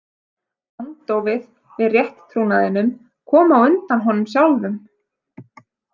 Andófið við rétttrúnaðinum kom á undan honum sjálfum.